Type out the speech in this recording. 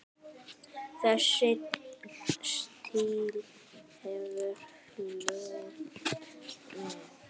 Þessi stíll hefur fylgt mér.